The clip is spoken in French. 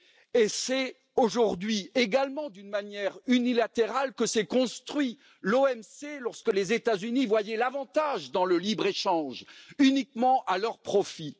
Et c'est aujourd'hui également d'une manière unilatérale que s'est construite l'OMC, lorsque les États Unis voyaient l'avantage dans le libre échange uniquement à leur profit.